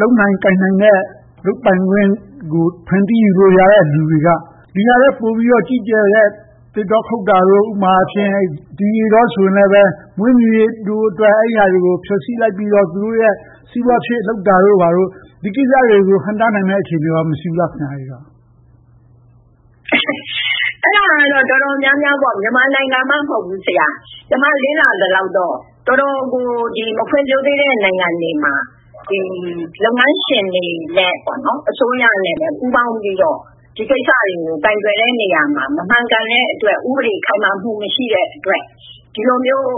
လုပ်နိုင်ကိုင်နိုင်တဲ့ လုပ်ပိုင်ခွင့်ကို ဖန်တီးယူနိုင်လို့ရတဲ့ လူတွေက ဒီဟာထက်ပိုပြီးကြီးကျယ်တဲ့ သစ်တောခုတ်တာတို့ ဥပမာအားဖြင့် ဒီရေတောဆိုရင်လဲ မွေးမြူးရေးအတွက် အဲဒီဟာတွေကို ဖျက်ဆီးလိုက်ပြီးတော့ သူတို့ရဲ့ စီးပွားဖြစ် လုပ်တာတို့ဘာတို့ ဒီကိစ္စတွေကို ဟန့်တားနိုင်မယ့် အခြေအနေကော မရှိဘူးလား။ အဲဒါကတော့ တော်တော်များများ မြန်မာနိုင်ငံမှ မဟုတ်ဘူး။ ကျမလေ့လာထားသလောက် တော်တော်ကို မဖွံ့ဖြိးသေးတဲ့ နိုင်ငံတွေမှာ လုပ်ငန်းရှင်တွေနဲ့ အစိုးရနဲ့ ပူးပေါင်းပြီးတော့ ဒီကိစ္စတွေကို ကိုင်တွယ်တဲ့နေရာမှာ မမှန်ကန်တဲ့အတွက်၊ ဥပဒေခိုင်မာမှု မရှိတဲ့အတွက် ဒီလိုမျိုး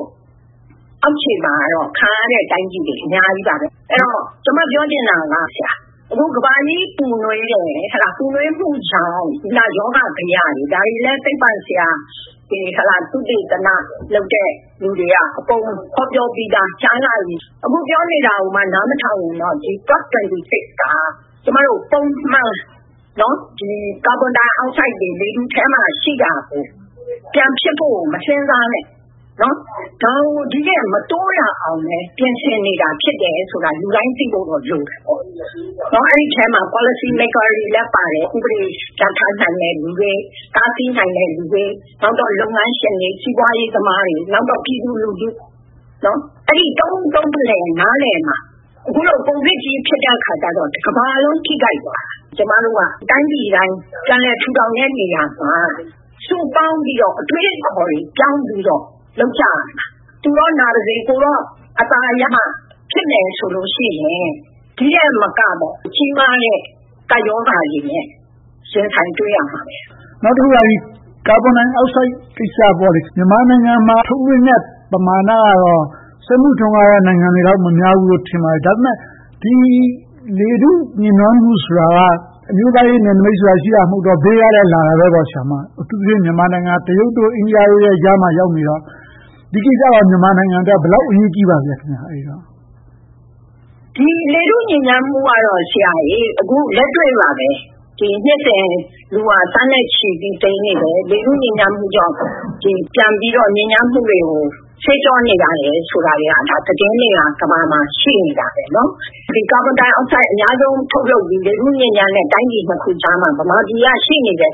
အောက်ခြေမှာတော့ ခံရတဲ့တိုင်းပြည်တွေ အများကြီးပါပဲ။ အဲဒီတော့ ကျမပြောချင်တာက အခု ကမ္ဘာကြီးပူနွေးတယ်၊ ကမ္ဘာကြီးပူနွေးမှုကြောင့် ရောဂါဘယတွေ၊ ဒါတွေလဲ သုတေသနလုပ်တဲ့ လူတွေက အကုန်ဟောပြောပြီသား ကြာလှပြီ။ အခုပြောနေတာကိုမှ နားမထောင်ဘူးဆိုရင်တော့ COP26 က ကျမတို့ ပုံမှန် ကာဘွန်ဒိုက်အောက်ဆိုဒ်တွေ လေထုထဲမှာရှိတာကို ပြန်ဖြစ်ဖို့ကို မစဉ်းစားနဲ့ ဒါကို ဒီထက်မတိုးအောင် ပြင်ဆင်နေတာလဲ ဖြစ်တယ်ဆိုတာကို လူတိုင်းသိဖို့တော့လိုတယ်။ အဲဒီအထဲမှာ Policy Maker တွေလည်း ပါတယ်။ ဥပဒေပြဌာန်းနိုင်တဲ့ လူတွေ၊ တားဆီးနိုင်တဲ့ လူတွေ၊ လုပ်ငန်းရှင်တွေ၊ စီးပွားရေးသမားတွေ၊ နောက် ပြည်သူလူထု။ အဲဒီလို သုံးဦးသုံးဖလှယ် နားလည်နိုင်မှ။ အခုလို ကိုဗစ်ကြီး ဖြစ်တဲ့အခါမှာ တကမ္ဘာလုံး ထိခိုက်သွားတာ။ တိုင်းပြည်တိုင်း ပြန်လည်ထူထောင်တဲ့နေရာမှာ စုပေါင်းပြီးတော့ အတွေးအခေါ်တွေ ပြောင်းပြီးတော့ လုပ်ကြရမှာ။ သူတော့ နာပါစေ၊ ကိုယ်တော့ အသာရ ဖြစ်မယ်ဆိုလို့ရှိရင် ဒီထက်မက ကြီးမားတဲ့ ကပ်ရောဂါတွေနဲ့ ရင်ဆိုင်တွေ့ရမှာပဲ။ နောက်တခုက ကာဘွန်ဒိုင်အောက်ဆိုဒ်ကိစ္စကော မြန်မာနိုင်ငံမှာ ထုတ်လွှင့်တဲ့ ပမာဏကတော့ စက်မှုထွန်းကားတဲ့ နိုင်ငံတွေလောက် မများဘူးလို့ ထင်ပါတယ်။ ဒါပေမဲ့ လေထုညစ်နွမ်းမှုဆိုတာက အမျိုးသားရေးနယ်နမိတ်ဆိုတာ မရှိတဲ့အတွက် ဘေးကလည်း လာတာပဲပေါ့။ အထူးသဖြင့် မြန်မာနိုင်ငံက တရုတ်၊ အိန္ဒိယတို့ကြားမှာ ရောက်နေတော့ - ဒီကိစ္စက မြန်မာနိုင်ငံအတွက် ဘယ်လောက်အထိ အရေးကြီးပါသလဲ။ လေထုညစ်ညမ်းမှုကတော့ အခုလက်တွေ့ပါပဲ နှစ်စဉ် လူတွေသန်းနဲ့ချီပြီးတော့ သေနေကြတယ်။ လေထုညစ်ညမ်းမှုကြောင့် ပြန်ပြီးတော့ ညစ်ညမ်းမှုတွေကို ဆေးကြောနေရတယ်ဆိုတာတွေက သတင်းတွေက ကမ္ဘာပေါ်မှာ ရှိနေတာပဲ။ ကာဘွန်ဒိုင်အောက်ဆိုဒ် အများဆုံး ထုတ်လုပ်တဲ့ တိုင်းပြည်နှစ်ခုကြားမှာ ဗမာပြည်က ရှိနေတဲ့